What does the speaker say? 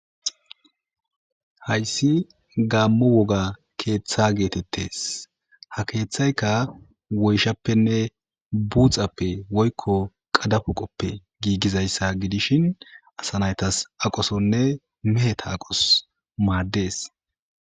hayssi gaammo woga keeththa geetettes ha keeththayka woyshappenne buuxappe woykko qadapuqoppe giigizayssa gidishin asanaytas aqosonne meheta aqos maaddees